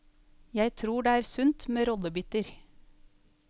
Jeg tror det er sunt med rollebytter.